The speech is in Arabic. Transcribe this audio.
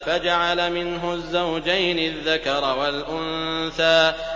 فَجَعَلَ مِنْهُ الزَّوْجَيْنِ الذَّكَرَ وَالْأُنثَىٰ